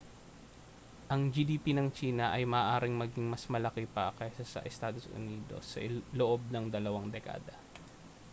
ang gdp ng tsina ay maaaring maging mas malaki pa kaysa sa estados unidos sa loob ng dalawang dekada